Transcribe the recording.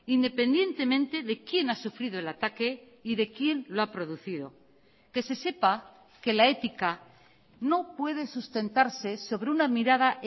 independientemente de quien ha sufrido el ataque y de quien lo ha producido que se sepa que la ética no puede sustentarse sobre una mirada